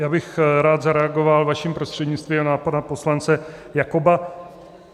Já bych rád zareagoval vaším prostřednictvím na pana poslance Jakoba.